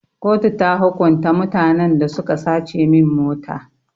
Kotu ta hukunta mutanen da suka sace min mota.